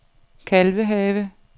Kalvehave